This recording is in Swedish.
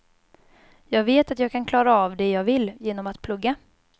Jag vet att jag kan klara av det jag vill, genom att plugga.